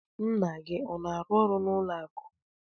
Nna gị ọ na-arụ ọrụ n'ụlọ akụ?